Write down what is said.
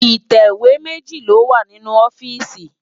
Itéwé méji lówá ninú òfìsí wá